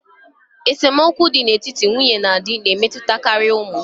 Esemokwu dị n'etiti nwunye na di na-emetụtakarị ụmụ.